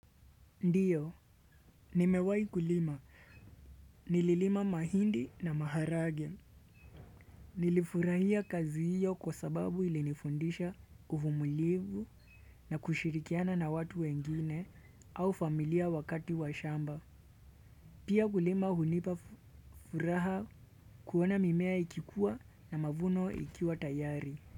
Ndiyo, nimewai kulima. Nililima mahindi na maharage. Nilifurahia kazi hiyo kwa sababu ilinifundisha uvumulivu na kushirikiana na watu wengine au familia wakati wa shamba. Pia kulima hunipa furaha kuona mimea ikikuwa na mavuno ikiwa tayari.